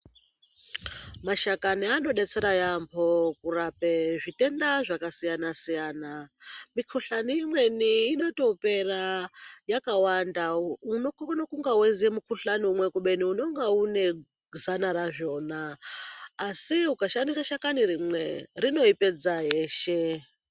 Mashakani anodetsera yaambo kurapa zvitenda zvakasiyana- siyana. Mikohlani imweni inotopera yakawanda. Unokone kunga weiziya mukohlani umwe kubeni unenge une zana razvona. Asi ukashandisa shakani rimwe, rinoipedza yeshe.